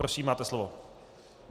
Prosím, máte slovo.